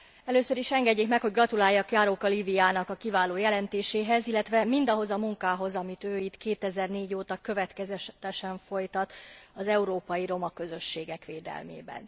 Először is engedjék meg, hogy gratuláljak Járóka Líviának a kiváló jelentéséhez, illetve mindahhoz a munkához, amit ő itt 2004 óta következetesen folytat az európai roma közösségek védelmében.